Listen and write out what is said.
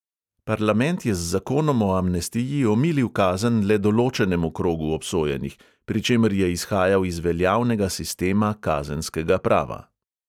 Parlament je z zakonom o amnestiji omilil kazen le določenemu krogu obsojenih, pri čemer je izhajal iz veljavnega sistema kazenskega prava.